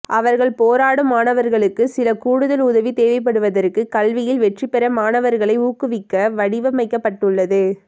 அவர்கள் போராடும் மாணவர்களுக்கு சில கூடுதல் உதவி தேவைப்படுவதற்கு கல்வியில் வெற்றிபெற மாணவர்களை ஊக்குவிக்க வடிவமைக்கப்பட்டுள்ளது